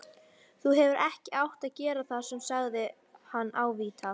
Þú hefðir ekki átt að gera það sagði hann ávítandi.